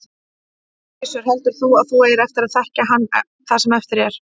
Gissur: Heldur þú að þú eigir eftir að þekkja hann það sem eftir er?